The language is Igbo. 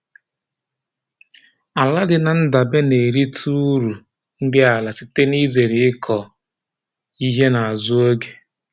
Ala dị na ndabe na-erita uru nri ala site n'izere ịkụ ihe n'azụ oge